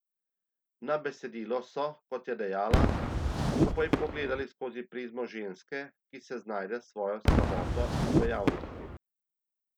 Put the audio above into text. Na besedilo so, kot je dejala, skupaj pogledali skozi prizmo ženske, ki se znajde s svojo samoto in v javnosti.